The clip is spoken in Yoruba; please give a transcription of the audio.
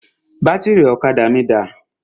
Bátìrì ọ̀kadà mí dà?